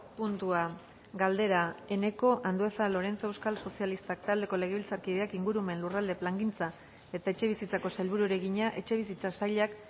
puntua galdera eneko andueza lorenzo euskal sozialistak taldeko legebiltzarkideak ingurumen lurralde plangintza eta etxebizitzako sailburuari egina etxebizitza sailak